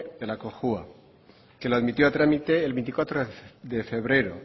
en la cojua que lo admitió a trámite el veinticuatro de febrero